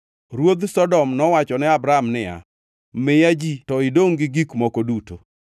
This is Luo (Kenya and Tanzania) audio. Ruodh Sodom nowacho ne Abram niya, “Miya ji to idongʼ gi gik moko duto.”